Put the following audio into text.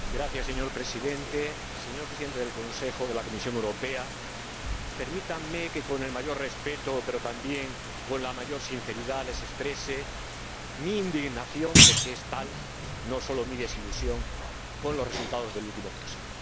Señor Presidente, señores Presidentes del Consejo y de la Comisión Europea, permítanme que, con el mayor respeto, pero también con la mayor sinceridad, les exprese mi indignación, porque es tal —no solo mi desilusión—, con los resultados del último Consejo.